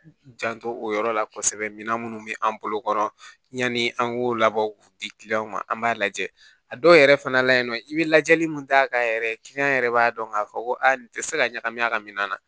Janto o yɔrɔ la kosɛbɛ mina minnu bɛ an bolokɔrɔ yanni an k'o labɔ k'u di ma an b'a lajɛ a dɔw yɛrɛ fana la yen nɔ i bɛ lajɛli min k'a kan yɛrɛ yɛrɛ b'a dɔn k'a fɔ ko aa nin tɛ se ka ɲagami a ka minan na